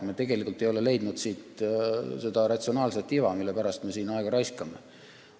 Me ei ole leidnud siit seda ratsionaalset iva, mille pärast me siin aega raiskame.